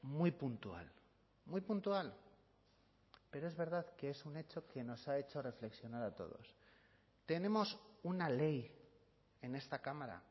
muy puntual muy puntual pero es verdad que es un hecho que nos ha hecho reflexionar a todos tenemos una ley en esta cámara